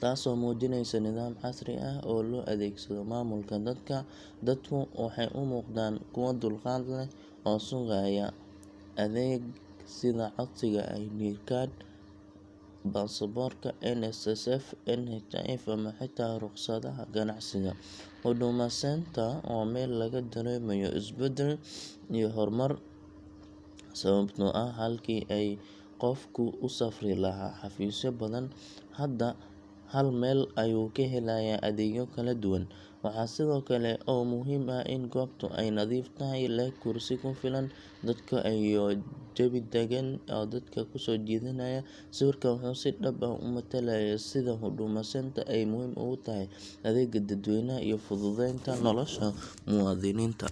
taasoo muujinaysa nidaam casri ah oo loo adeegsado maamulka dadka. Dadku waxay u muuqdaan kuwo dulqaad leh oo sugaya adeeg sida codsiga ID card, baasaboorka, NSSF, NHIF, ama xitaa rukhsadda ganacsiga. Huduma Centre waa meel laga dareemayo isbeddel iyo horumar, sababtoo ah halkii qofku u safri lahaa xafiisyo badan, hadda hal meel ayuu ka helayaa adeegyo kala duwan. Waxa kale oo muhiim ah in goobtu ay nadiif tahay, leh kursi ku filan dadka, iyo jawi deggan oo dadka kusoo jiidanaya. Sawirkan wuxuu si dhab ah u matalayaa sida Huduma Centre ay muhiim ugu tahay adeegga dadweynaha iyo fududeynta nolosha muwaadiniinta.